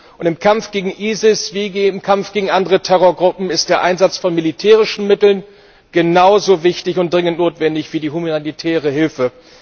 Und im Kampf gegen ISIS wie im Kampf gegen andere Terrorgruppen ist der Einsatz von militärischen Mitteln genauso wichtig und dringend notwendig wie die humanitäre Hilfe.